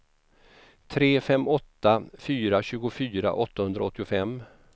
tre fem åtta fyra tjugofyra åttahundraåttiofem